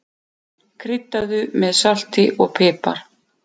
Kryddaðu með salti og pipar.